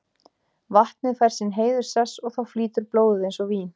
Vatnið fær sinn heiðurssess og þá flýtur blóðið eins og vín.